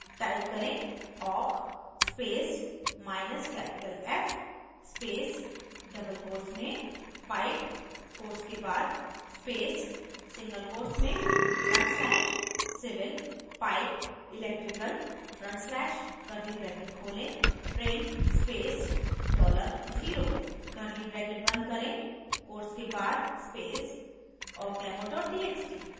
type करें awk space minus capital f space double quotes में pipe quotes के बाद space single quotes में front slash civil pipe electrical front slash curly bracket खोलें {print space dollar0 0} curly bracket बंद करें quotes के बाद space awkdemo txt